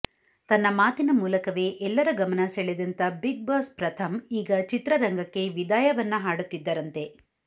ತನ್ನ ಮಾತಿನ ಮೂಲಕವೇ ಎಲ್ಲರ ಗಮನ ಸೆಳೆದಂತ ಬಿಗ್ ಬಾಸ್ ಪ್ರಥಮ್ ಈಗ ಚಿತ್ರರಂಗಕ್ಕೆ ವಿದಾಯವನ್ನ ಹಾಡುತ್ತಿದ್ದರಂತೆ